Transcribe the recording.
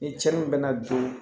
Ni cɛnni bɛ na don